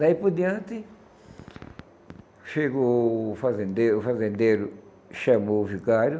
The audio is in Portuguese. Daí por diante, chegou o fazendeiro, o fazendeiro chamou o vigário